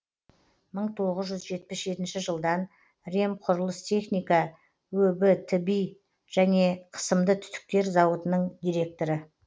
мың тоғыз жүз жетпіс жетінші жылдан ремқұрылыстехника өб тби және қысымды түтіктер зауытының директоры